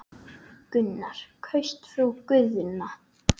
Gunnar: Kaust þú Guðna?